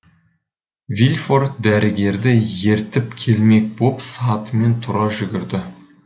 вильфор дәрігерді ертіп келмек боп сатымен тұра жүгірді